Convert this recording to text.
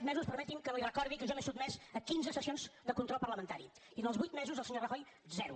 mesos permeti’m que li recordi que jo m’he sotmès a quinze sessions de control parlamentari i en els vuit mesos el senyor rajoy zero